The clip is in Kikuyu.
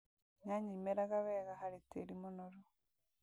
Nyanya imeraga wega harĩ tĩri mũnoru